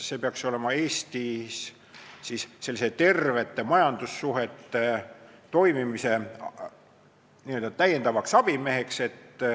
See peaks olema Eestis n-ö täiendavaks abimeheks tervete majandussuhete toimimisele.